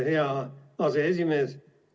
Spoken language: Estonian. Aitäh, hea aseesimees!